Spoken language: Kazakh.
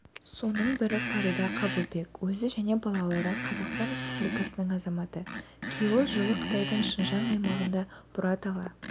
соның бірі фарида қабылбек өзі және балалары қазақстан республикасының азаматы күйеуі жылы қытайдың шыңжаң аймағында бұратала